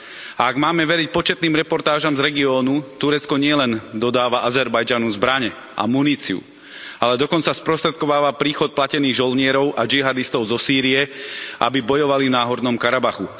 A ak máme veriť početným reportážam z regiónu, Turecko nielen dodáva Azerbajdžanu zbrane a muníciu, ale dokonca sprostredkováva príchod platených žoldnierov a džihádistov zo Sýrie, aby bojovali v Náhornom Karabachu.